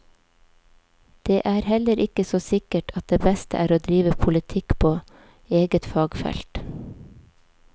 Det er heller ikke så sikkert at det beste er å drive politikk på eget fagfelt.